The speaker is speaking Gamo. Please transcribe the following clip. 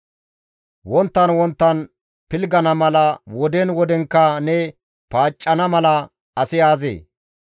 Wonttan wonttan pilggana mala, woden wodenkka ne paaccana mala asi aazee?